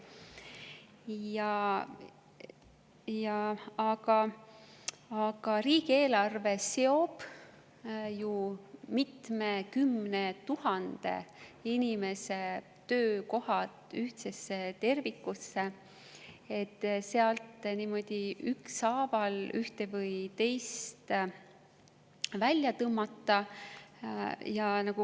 Aga riigieelarve seob ju mitmekümne tuhande inimese töökohad ühtsesse tervikusse, sealt niimoodi ükshaaval ühte või teist välja tõmmata.